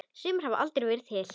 Sumir hafa aldrei verið til.